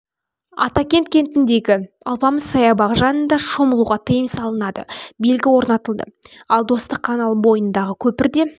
атакент кентіндегі алпамыс саябағы жанында шомылуға тыйым салынады белгі орнатылды ал достық каналы бойындағы көпірде